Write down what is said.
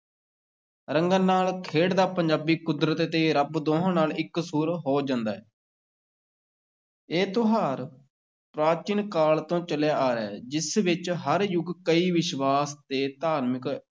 ਰੰਗਾਂ ਨਾਲ ਖੇਡਦਾ ਪੰਜਾਬੀ ਕੁਦਰਤ ਤੇ ਰੱਬ ਦੋਹਾਂ ਨਾਲ ਇਕਸੁਰ ਹੋ ਜਾਂਦਾ ਹੈ ਇਹ ਤਿਉਹਾਰ ਪ੍ਰਾਚੀਨ ਕਾਲ ਤੋਂ ਚੱਲਿਆ ਆ ਰਿਹਾ ਹੈ, ਜਿਸ ਵਿੱਚ ਹਰ ਯੁਗ ਕਈ ਵਿਸ਼ਵਾਸ ਤੇ ਧਾਰਮਿਕ